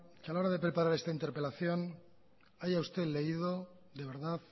que a la hora de preparar esta interpelación haya usted leído de verdad